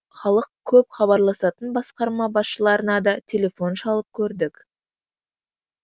халық көп хабарласатын басқарма басшыларына да телефон шалып көрдік